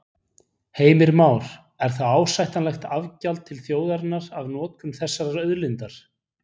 Heimir Már: Er það ásættanlegt afgjald til þjóðarinnar af notkun þessarar auðlindar?